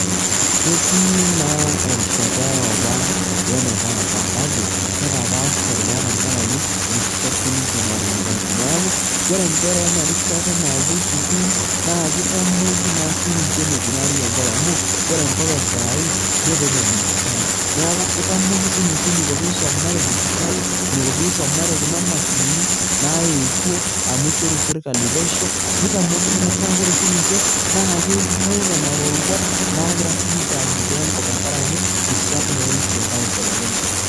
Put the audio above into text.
Ketii naa erishata eopa wenetaata kake kepaasha naa tenkarake rishat siininche natinyikaitie, neaku ore inkera ena rishata nawuo sukuul naakeitamoki naa sininche eneikunaari enkop amu ore enkop e sai netaa ene dijitali. Neaku keitamoki siininche eneiko peisomare dijitali, eneiko peisomare kuna mashinini naetuo amu eishoru serkali pesho, neitamoki metaa ore siininche naakewuo nena roruat nagira siininye anyikaa enkop tenkarake, rishat naa enye naibelekenyate.